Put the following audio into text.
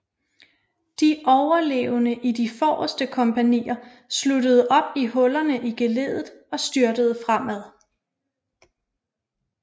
De overlevende i de forreste kompagnier sluttede op i hullerne i geleddet og styrtede fremad